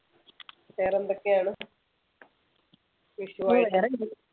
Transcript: വേറെ എന്തൊക്കെയാണ് വിഷു ആയിട്ട്